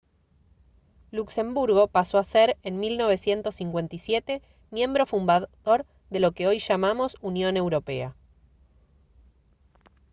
luxemburgo pasó a ser en 1957 miembro fundador de lo que hoy llamamos unión europea